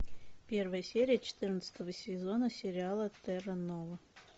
первая серия четырнадцатого сезона сериала терра нова